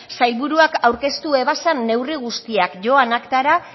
sailburuak aurkeztu zituen neurri guztiak joan aktara